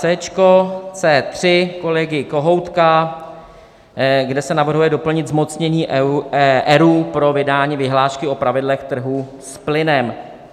C3 kolegy Kohoutka, kde se navrhuje doplnit zmocnění ERÚ pro vydání vyhlášky o pravidlech trhu s plynem.